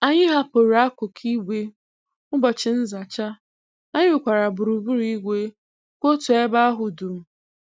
Anyị hapụrụ akụkụ igbe ụbọchị nzacha, anyị rụkwara gburugburu igwe kwụ otu ebe ahụ dum.